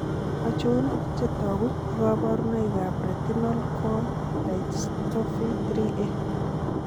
Achon chetogu ak kaborunoik ab Retinal cone dystophy 3A?